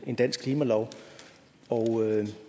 en dansk klimalov